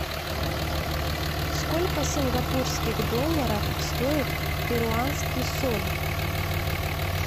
сколько сингапурских долларов стоит перуанский соль